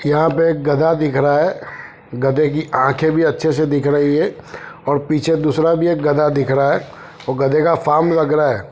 यहा पे एक गधा दिख रहा है गधे की आखे भी अच्छे से दिख रही है और पीछे दूसरा भी एक गधा दिख रह अहै गधे का फार्म लग रहा है।